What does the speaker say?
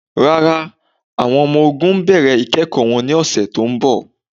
Rárá, awọn ọmọ-ò̩gùn n bẹ̀rẹ̀ ikẹ̀kọ wọn ni ọ̀ṣẹ̀ tó nbọ̀.